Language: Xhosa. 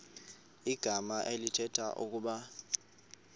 igama elithetha ukuba